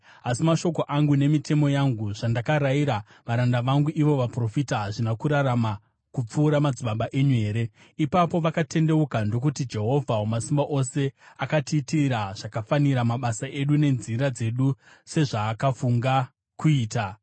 Asi mashoko angu nemitemo yangu, zvandakarayira varanda vangu ivo vaprofita, hazvina kurarama kupfuura madzibaba enyu here? “Ipapo vakatendeuka ndokuti, ‘Jehovha Wamasimba Ose akatiitira zvakafanira mabasa edu nenzira dzedu, sezvaakafunga kuita.’ ”